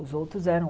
Os outros eram...